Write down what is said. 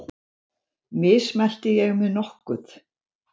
Mismælti ég mig nokkuð?